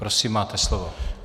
Prosím, máte slovo.